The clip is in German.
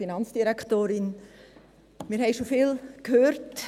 Wir haben schon vieles gehört.